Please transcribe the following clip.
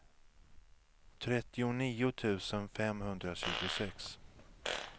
trettionio tusen femhundratjugosex